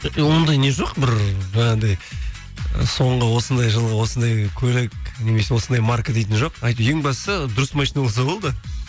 ондай не жоқ бір жаңағыдай соңғы осындай жылғы осындай көлік немесе осындай марка дейтін жоқ әйтеуір ең бастысы дұрыс машина болса болды